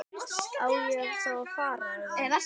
Á ég þá að fara. eða?